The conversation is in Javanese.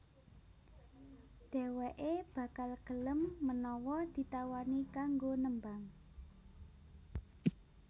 Dhèwèké bakal gelem menawa ditawani kanggo nembang